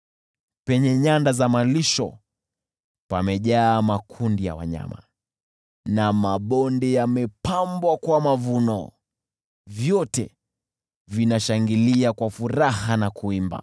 Penye nyanda za malisho pamejaa makundi ya wanyama, na mabonde yamepambwa kwa mavuno; vyote vinashangilia kwa furaha na kuimba.